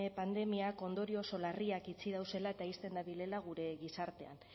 pandemiak ondorio oso larriak itxi dauzela eta ixten dabilela gure gizartean